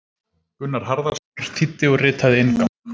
Gunnar Harðarson þýddi og ritaði inngang.